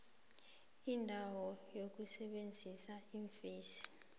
lendawo yokusebenzela iimfesi